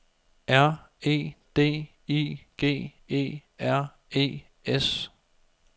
R E D I G E R E S